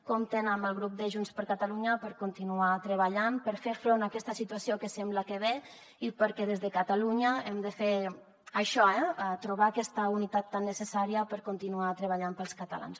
compten amb el grup de junts per catalunya per continuar treballant per fer front a aquesta situació que sembla que ve i perquè des de catalunya hem de fer això eh trobar aquesta unitat tan necessària per continuar treballant per als catalans